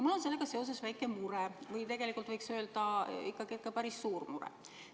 Mul on sellega seoses väike mure või tegelikult võiks öelda, ikkagi päris suur mure.